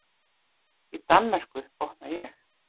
Í Danmörku, botna ég.